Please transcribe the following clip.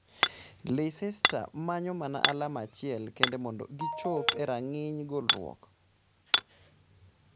Leicester manyo mana alama achiel kende mondo gichop erang'iny golruok